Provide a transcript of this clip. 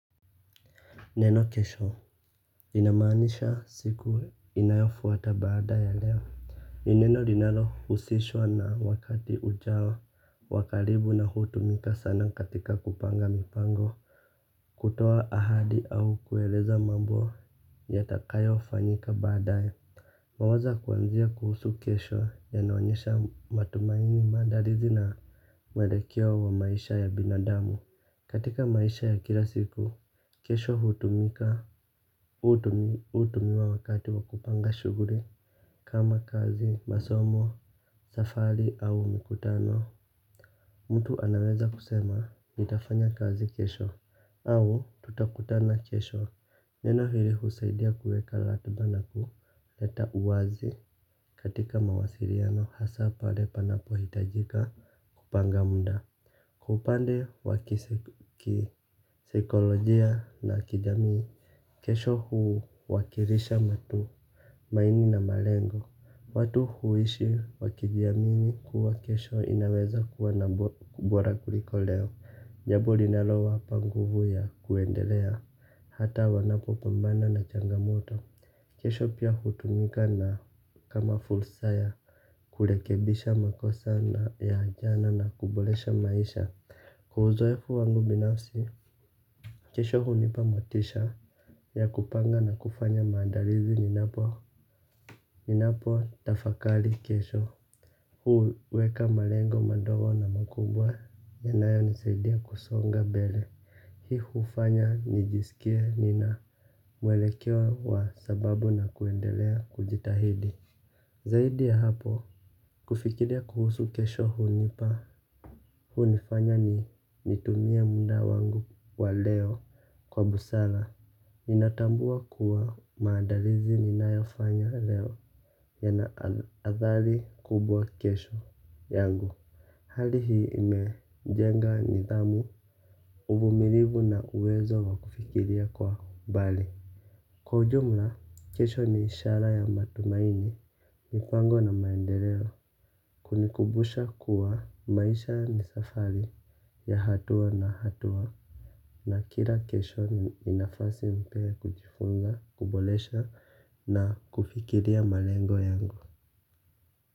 Neno kesho linamanisha siku inayofuata baada ya leo. Ni neno linalohusishwa na wakati ujao wa karibu na hutumika sana katika kupanga mipango. Kutoa ahadi au kueleza mambo yatakayofanyika baadaye. Mawazo kwanzia kuhusu kesho yanaonyesha matumaini maandalizi na mwelekeo wa maisha ya binadamu. Katika maisha ya kila siku, kesho hutumika. Hutumiwa wakati wa kupanga shughuli kama kazi, masomo, safari au mikutano. Mtu anaweza kusema nitafanya kazi kesho au tutakutana kesho. Neno hili husaidia kuweka ratiba na kuleta uwazi katika mawasiliano hasa pale panapo hitajika. Kupanga muda. Upande wa kisaikolojia na kijamii kesho huwakilisha matumaini na malengo. Watu huishi wakijamii kuwa kesho inaweza kuwa na ubora kuliko leo. Jambo linalo wapa nguvu ya kuendelea hata wanapopambana na changamoto kesho pia hutumika na kama fulsaya. Kurekebisha makosa na ya jana na kuboresha maisha kwa uzoefu wangu binafsi, kesho hunipa motisha ya kupanga na kufanya maandalizi ninapo, ninapo tafakari kesho. Huweka malengo madogo na makubwa, yanayonisaidia kusonga mbele. Hii hufanya nijisikie nina mwelekeo wa sababu na kuendelea kujitahidi. Zaidi ya hapo, kufikiria kuhusu kesho hunipa, hunifanya nitumie muda wangu wa leo kwa busara. Ninatambua kuwa maadalizi ninayofanya leo yana athari kubwa kesho yangu. Hali hii imejenga nidhamu, uvumilivu na uwezo wa kufikiria kwa mbali. Kwa ujumla, kesho ni ishara ya matumaini, mipango na maendeleo, kunikubusha kuwa maisha ni safari ya hatuwa na hatuwa. Na kila kesho ni nafasi mpya kujifunza, kuboresha na kufikiria malengo yangu.